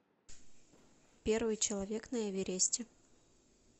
первый человек на эвересте